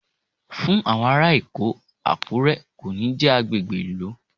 Fún àwọn ará Èkó, Àkúré kò ní jẹ́ agbègbè ìlú.